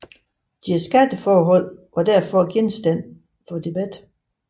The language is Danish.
Deres skatteforhold var derfor genstand for debat